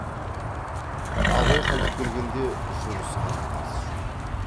абай қайтып келгенде жұлысқан тартыс жоқ